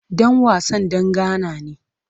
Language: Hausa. Dan wasan dan Ghana ne.